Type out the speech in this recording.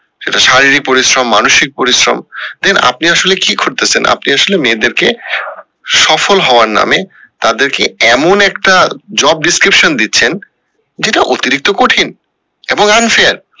সেটা শারীরিক পরিশ্রম মানসিক পরিশ্রম then আপনি আসলে কি করতেসেন আপন ই আসলে মেয়েদের কে সফল হওয়ার নামে তাদের কে, এমন একটা job descriptions দিচ্ছেন যেটা অতিরিক্ত কঠিন এবং unfair